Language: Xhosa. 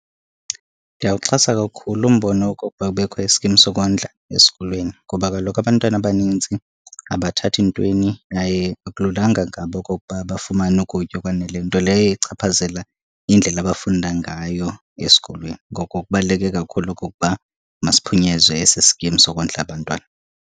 Ndiyawuxhasa kakhulu umbono wokokuba kubekho iskim sokondla esikolweni. Ngoba kaloku abantwana abanintsi abathathi ntweni yaye akululanga ngabo okokuba bafumane ukutya okwaneleyo, nto leyo echaphazela indlela abafunda ngayo esikolweni. Ngoko kubaluleke kakhulu okokuba masiphunyezwe esi skim sokondla abantwana.